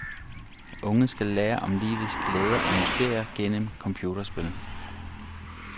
Unge skal lære om livets glæder og mysterier gennem computerspil.